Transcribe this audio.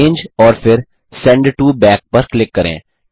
arrange और फिर send to back पर क्लिक करें